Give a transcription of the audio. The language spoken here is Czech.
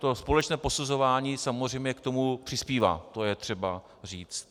To společné posuzování samozřejmě k tomu přispívá, to je třeba říct.